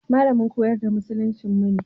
Malamin koyar da musuluncinmu ne.